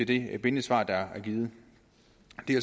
det bindende svar der er givet